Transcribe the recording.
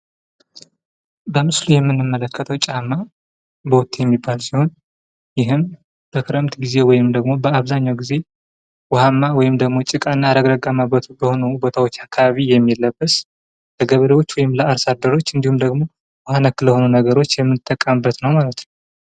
በምስሉ የምንመለከተዉ ጫማ ቦቴ የሚባለዉ ሲሆን ይህም በክረም ጊዜ ወይም በአብዛኛዉ ጊዜ ዉኃማ ወይም ደግሞ ጭቃ እና ረግረጋማ ቦታዎች አካባቢ የሚለበስ ለገበሬዎች ወይም ለአርሶ አደሮች እንዲሁም ደግሞ ዉኃ ነክ ለሆኑ ቦታዎች የምንጠቀምበት ነዉ።